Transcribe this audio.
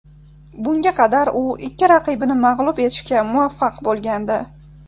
Bunga qadar u ikki raqibini mag‘lub etishga muvaffaq bo‘lgandi .